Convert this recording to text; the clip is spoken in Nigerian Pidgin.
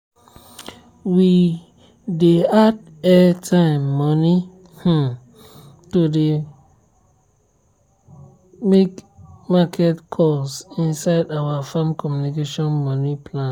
we dey add airtime money um to dey um make market calls inside our farm communication money plan.